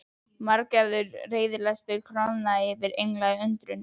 Margæfður reiðilesturinn koðnaði niður í einlæga undrun.